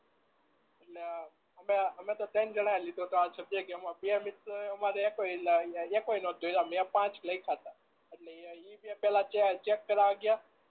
એટલે હમ એ તો ત્રણ જના એ લીધો તો આ સબ્જેક્ટ એમાં બે મિત્રો એ એકે એકોયે નતો દોરયા મેં પાંચ લયખયતા એટલે એ બે પેલા ચેક કરવા ગયા